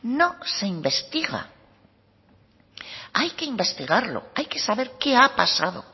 no se investiga hay que investigarlo hay que saber qué ha pasado